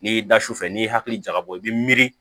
N'i y'i da sufɛ n'i hakili jagabɔ i bɛ miiri